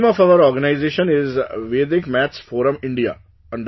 The name of our organization is Vedic Maths Forum India